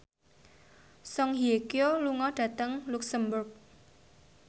Song Hye Kyo lunga dhateng luxemburg